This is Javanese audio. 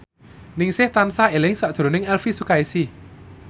Ningsih tansah eling sakjroning Elvi Sukaesih